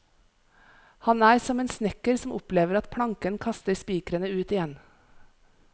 Han er som en snekker som opplever at planken kaster spikrene ut igjen.